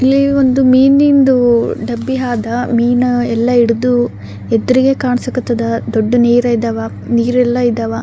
ಇಲ್ಲಿ ಒಂದು ಮೀನಿದ್ದು ಡಬ್ಬಿ ಆದ ಮೀನಾ ಎಲ್ಲ ಹಿಡ್ದು ಯದ್ರಿಗೆ ಕಾಣಸ ಕತದ ದೊಡ್ಡ ನೀರ ಅದವ ನೀರ್ ಎಲ್ಲ ಅದವ.